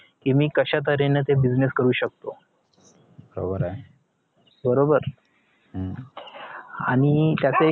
कि मी कश्या तऱ्हेन ते business करू शकतो बरोबर आणि त्याच एक